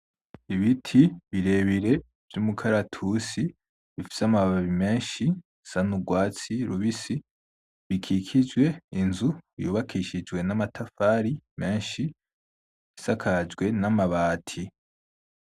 Ibiti birebire vyumukaratusi, bifise amababi menshi bisa nurwatsi rubisi bikikijwe inzu yubakishijwe namatafari menshi isakajwe namabati .